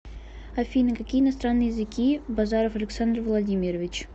афина какие иностранные языки базаров александр владимирович